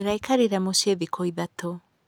Ndĩraikarire mũciĩ thikũ ithatũ.